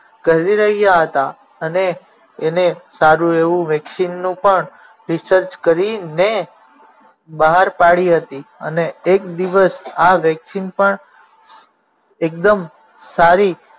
કરી રહ્યા હતા અને એને સારું એવું vaccine નું પણ research કરીને બહાર પાડી હતી અને એક દિવસ આ vaccine પણ એકદમ સારી